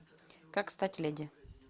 как стать леди